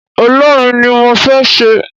Olórin ni mo fé ṣe